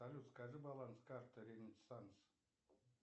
салют скажи баланс карты ренессанс